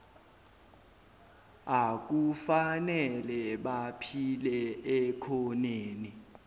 akufanele baphile ekhoneni